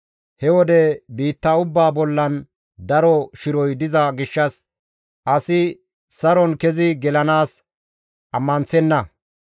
He wode biitta ubbaa bollan daro shiroy diza gishshas asi saron kezi gelanaas ammanththenna.